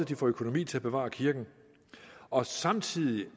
de får økonomi til at bevare kirken og samtidig